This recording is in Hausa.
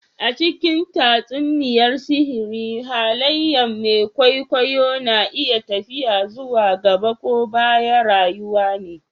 A cikin tatsuniyar sihiri haliyen mai kwaikwayo na iya tafiya zuwa gaɓa ko ɓaya rayuwa ne.